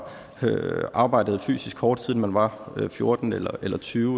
arbejdet fysisk hårdt siden man var fjorten eller eller tyve